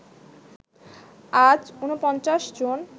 আজ ৪৯ জন